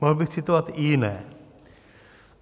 Mohl bych citovat i jiné.